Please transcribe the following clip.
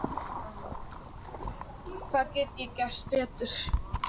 Hvað get ég gert betur?